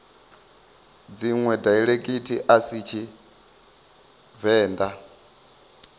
dziṅwe daiḽekithi a si tshivenḓa